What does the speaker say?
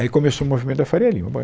Aí começou o movimento da Faria Lima, bom